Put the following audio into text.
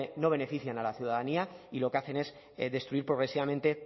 no benefician a la ciudadanía y lo que hacen es destruir progresivamente